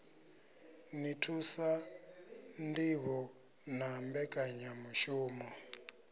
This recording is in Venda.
ḓi thusa ṋdivho na mbekanyamushumo